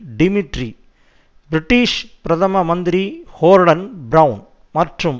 Dmitry British பிரதம மந்திரி Gordon Brown மற்றும்